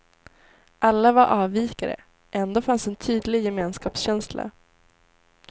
Alla var avvikare, ändå fanns en tydlig gemenskapskänsla.